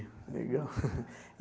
Legal.